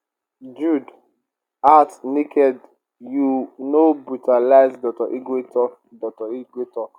[jude] out naked you know brutalise dr igwe tok igwe tok